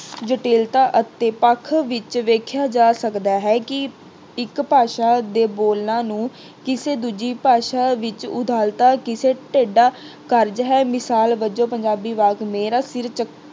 ਜਟਿਲਤਾ ਅਤੇ ਪੱਖ ਵਿੱਚ ਵੇਖਿਆ ਜਾ ਸਕਦਾ ਹੈ ਕਿ ਇੱਕ ਭਾਸ਼ਾ ਦੇ ਬੋਲਾਂ ਨੂੰ ਕਿਸੇ ਦੂਜੀ ਭਾਸ਼ਾ ਵਿੱਚ ਉਦਾਹਰਤਾ ਕਿਸੇ ਟੇਢਾ ਕਾਰਜ ਹੈ। ਮਿਸਾਲ ਵਜੋਂ ਪੰਜਾਬੀ ਵਾਕ ਮੇਰਾ ਸਿਰ